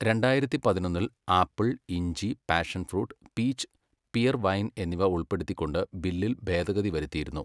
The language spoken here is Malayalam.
രണ്ടായിരത്തി പതിനൊന്നിൽ ആപ്പിൾ, ഇഞ്ചി, passion fruit, peach, pear wine എന്നിവ ഉൾപ്പെടുത്തിക്കൊണ്ട് ബില്ലിൽ ഭേദഗതി വരുത്തിയിരുന്നു.